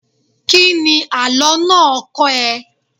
Kíni àlọ́ náà kọ́ ẹ?